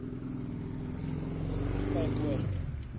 запускай флеш